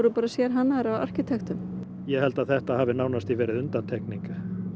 sérhannaðar af arkitektum ég held að þetta hafi nánast verið undantekning